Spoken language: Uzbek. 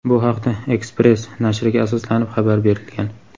Bu haqda "Express" nashriga asoslanib xabar berilgan.